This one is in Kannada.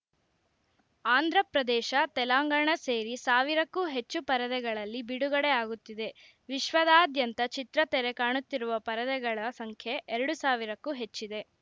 ಆಂಧ್ರಪ್ರದೇಶ ತೆಲಂಗಾಣ ಸೇರಿ ಸಾವಿರಕ್ಕೂ ಹೆಚ್ಚು ಪರದೆಗಳಲ್ಲಿ ಬಿಡುಗಡೆ ಆಗುತ್ತಿದೆ ವಿಶ್ವದಾದ್ಯಂತ ಚಿತ್ರ ತೆರೆ ಕಾಣುತ್ತಿರುವ ಪರದೆಗಳ ಸಂಖ್ಯೆ ಎರಡು ಸಾವಿರಕ್ಕೂ ಹೆಚ್ಚಿದೆ